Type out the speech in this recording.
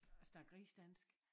Snakke rigsdansk